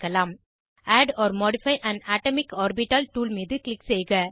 add or modify an atomic orbital tool மீது click செய்க